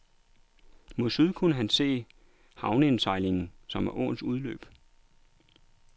Mod syd kunne han se havneindsejlingen, som var åens udløb.